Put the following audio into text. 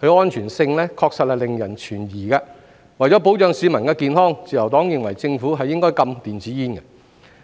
其安全性確實令人存疑，為保障市民的健康，自由黨認為政府應禁電子煙。